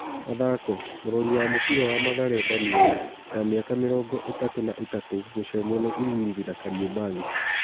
(Mathako) Mũrori wa mũbira wa Mathare Danieri wa mĩ aka mĩ rongo ĩ tatũ na ĩ tatũ gucemwo nĩ Ulinzi na Kariombangi.